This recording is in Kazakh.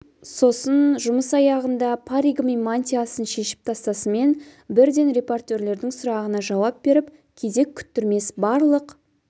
сосын жұмыс аяғында паригі мен мантиясын шешіп тастасымен бірден репортерлердің сұрағына жауап беріп кезек күттірмес барлық